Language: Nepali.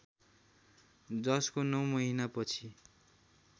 जसको नौ महिनापछि